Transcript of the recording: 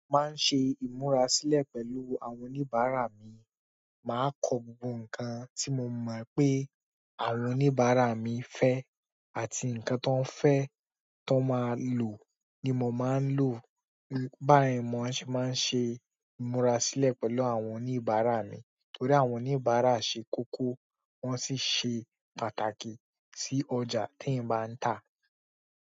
Máa ń ṣe ìmúra sílẹ̀ pẹ̀lú àwọn oníbàárà mi, màá kọ gbogbo nǹkan tí mo mọ̀ pé àwọn oníbàárà mi fẹ́ àti nǹkan tan ń fẹ́ tan máa lò ni mò máa ǹ lò. Báyìí mò ń ṣe maa n ṣe ìmúra sílẹ̀ pẹ̀lú àwọn oníbàárà mi torí àwọn oníbàárà ṣe kókó wọ́n sì ṣe pàtàkì sí ọjà tí ń bá ń tà.